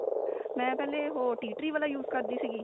ਮੈਂ ਪਹਿਲੇ ਉਹ tee tree ਵਾਲਾ use ਕਰਦੀ ਸੀਗੀ